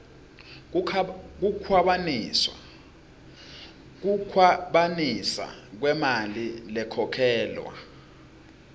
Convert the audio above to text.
kukhwabanisa kwemali lekhokhelwa